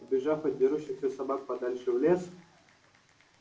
убежав от дерущихся собак подальше в лес